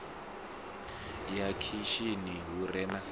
ya khishini hu re na